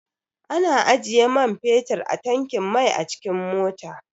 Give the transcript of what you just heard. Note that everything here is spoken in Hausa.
Ana ajiye man fetir a tankin mai a cikin mota.